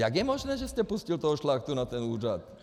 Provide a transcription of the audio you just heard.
Jak je možné, že jste pustil toho Šlachtu na ten úřad?